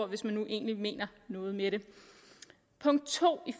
hvis man egentlig mener noget med det punkt to